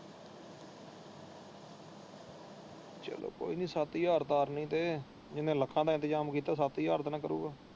ਚੱਲੋ ਕੋਈ ਨੀ ਸੱਤ ਹਾਜਰ ਤਾ ਆ ਲੈਣ ਦੇ ਜਿੰਨੇ ਲੱਖਾਂ ਦਾ ਇੰਤਜਾਮ ਕੀਤਾ ਉਹ ਸੱਤ ਹਾਜਰ ਦਾ ਨਾ ਕਰੋਗਾ।